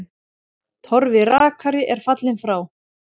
Torfi rakari er fallinn frá.